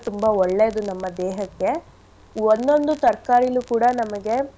ತುಂಬಾ ಒಳ್ಳೇದು ನಮ್ಮ ದೇಹಕ್ಕೆ ಒನ್ನೋಂದು ತರ್ಕಾರಿಲು ಕೂಡ ನಮ್ಗೆ.